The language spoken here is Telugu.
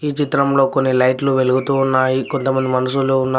ఈ చిత్రంలో కొన్ని లైట్లు వెలుగుతూ ఉన్నాయి కొంతమంది మనుషులు ఉన్నారు.